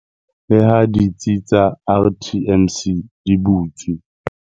Le ha ditsi tsa RTMC di butswe.